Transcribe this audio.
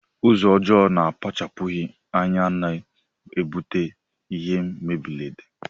Ụzọ ọjọ na akpachapughi anya na ebute ihe mberede.